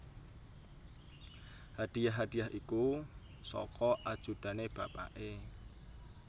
Hadiah hadiah iku saka ajudane bapake